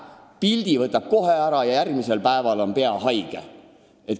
Pildi võtab kohe eest ja järgmisel päeval on pea haige.